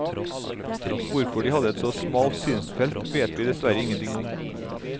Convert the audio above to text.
Hvorfor de hadde et så smalt synsfelt vet vi dessverre ingenting om.